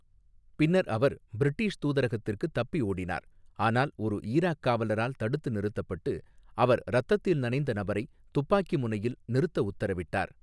பின்னர் அவர் பிரிட்டிஷ் தூதரகத்திற்கு தப்பி ஓடினார், ஆனால் ஒரு ஈராக் காவலரால் தடுத்து நிறுத்தப்பட்டு, அவர் இரத்தத்தில் நனைந்த நபரை துப்பாக்கி முனையில் நிறுத்த உத்தரவிட்டார்.